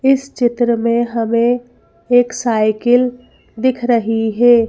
इस चित्र में हमें एक साइकिल दिख रही हैं।